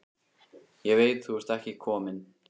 Ég veit þú ert ekki kominn.